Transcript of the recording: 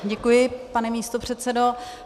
Děkuji, pane místopředsedo.